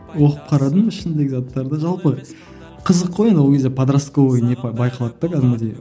оқып қарадым ішіндегі заттарды жалпы қызық қой енді ол кезде подростковый не байқалады да кәдімгідей